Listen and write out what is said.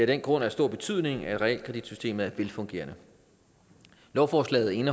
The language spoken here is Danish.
den grund af stor betydning at realkreditsystemet er velfungerende lovforslaget